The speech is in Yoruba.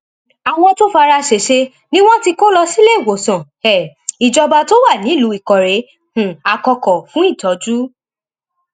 àwọn tó fara ṣẹṣẹ ni wọn ti kó lọ síléemọsán um ìjọba tó wà nílùú ìkórè um àkọkọ fún ìtọjú